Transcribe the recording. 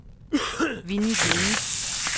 Winnie Lynge